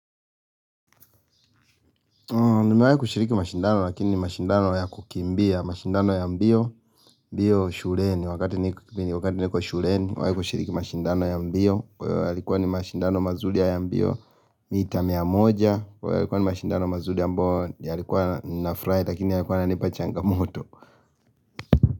Nimewahi kushiriki mashindano lakini ni mashindano ya kukimbia, mashindano ya mbio, mbio shuleni, wakati niko shuleni, nimewahi kushiriki mashindano ya mbio, yalikuwa ni mashindano mazuri ya mbio, mita mia moja, yalikuwa ni mashindano mazuri ambayo, yalikuwa nafurahi lakini yalikuwa yananipa changamoto.